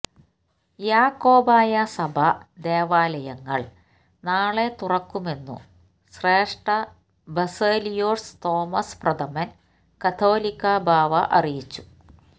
യാക്കോബായ സഭാ ദേവാലയങ്ങള് നാളെ തുറക്കുമെന്നു ശ്രേഷ്ഠ ബസേലിയോസ് തോമസ് പ്രഥമന് കാതോലിക്കാ ബാവ അറിയിച്ചു